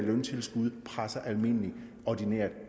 løntilskud presser almindeligt ordinært